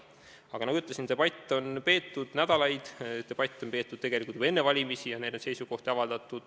Aga nagu ma ütlesin, on debatte peetud nädalaid, debatte on peetud ja seisukohti avaldatud juba tegelikult enne valimisi.